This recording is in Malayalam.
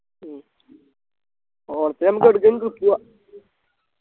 ഉം ഓർക്ക നമ്മക്ക് എടുക്കെൻ trip പോവാ